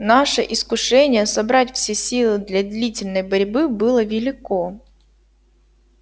наше искушение собрать все силы для длительной борьбы было велико